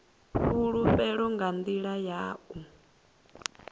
fhulufhelo nga nḓila ya u